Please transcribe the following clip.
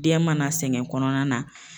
Den mana sɛgɛn kɔnɔna na.